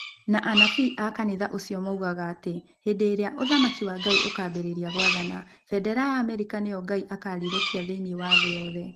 Na anabii a kanitha ũcio moigaga atĩ hĩndĩ ĩrĩa “Ũthamaki wa Ngai ũkaambĩrĩria gwathana, bendera ya Amerika nĩyo Ngai akaarirũkia thĩinĩ wa thĩ yothe.”